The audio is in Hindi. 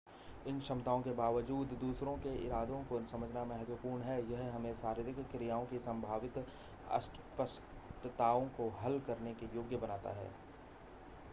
इन क्षमताओं के बावजूद दूसरों के इरादे को समझना महत्वपूर्ण है यह हमें शारीरिक क्रियाओं की संभावित अस्पष्टताओं को हल करने के योग्य बनाता है